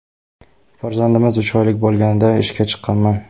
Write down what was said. Farzandimiz uch oylik bo‘lganida ishga chiqqanman.